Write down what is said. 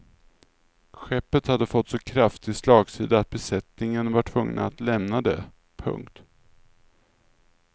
Skeppet hade fått så kraftig slagsida att besättningen var tvungen att lämna det. punkt